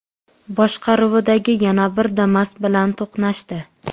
boshqaruvidagi yana bir Damas bilan to‘qnashdi.